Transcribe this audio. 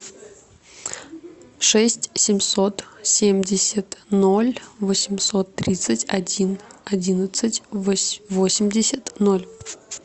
шесть семьсот семьдесят ноль восемьсот тридцать один одиннадцать восемьдесят ноль